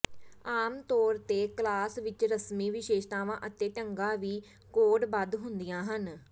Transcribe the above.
ਆਮ ਤੌਰ ਤੇ ਕਲਾਸ ਵਿਚ ਰਸਮੀ ਵਿਸ਼ੇਸ਼ਤਾਵਾਂ ਅਤੇ ਢੰਗਾਂ ਵੀ ਕੋਡਬੱਧ ਹੁੰਦੀਆਂ ਹਨ